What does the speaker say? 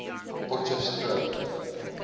potchefstroom